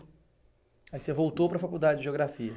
Aí você voltou para a faculdade de geografia.